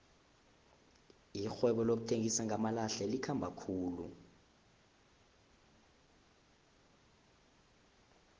irhwebo lokuthengisa ngamalahle likhamba khulu